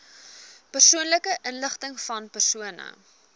persoonlike inligtingvan persone